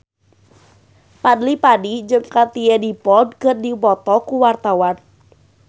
Fadly Padi jeung Katie Dippold keur dipoto ku wartawan